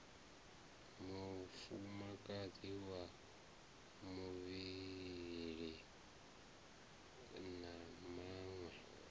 mufumakadzi wa vhuvhili na vhaṅwe